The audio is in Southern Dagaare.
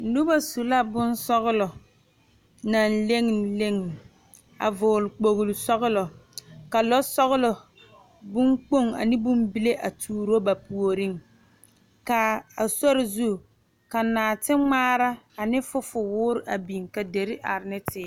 Noba su la bonsɔglɔ naŋ leŋe leŋe a vɔgeli kpolo sɔglɔ ka sɔglɔ bon kpoŋ ane bon bile a tuuro ba puoriŋ kaa a sori zu ka noɔti ŋmaara ane fofo ŋmaara a biŋ ka deri are ne teere